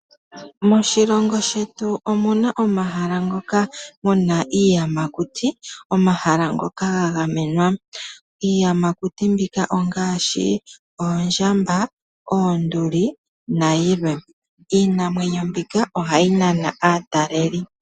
Moshilongo shetu omuna omahala ngoka gena iiyamakuti, omahala ngoka ga gamenwa. Iiyamakuti mbika ongaashi oondjamba, oonduli nayilwe. Iinamwenyo mbika ohayi nana aataleli.